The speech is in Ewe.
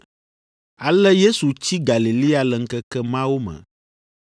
Ale Yesu tsi Galilea le ŋkeke mawo me.